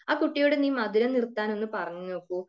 ആ കുട്ടിയോട് നീ മധുരം നിർത്താൻ ഒന്ന് പറഞ്ഞു നോക്കു.